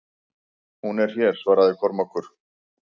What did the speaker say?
Hún er hér, svaraði Kormákur.